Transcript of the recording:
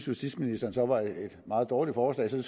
justitsministeren så var et meget dårligt forslag så